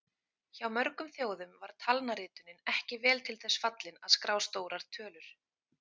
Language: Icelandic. Hjá mörgum þjóðum var talnaritunin ekki vel til þess fallin að skrá stórar tölur.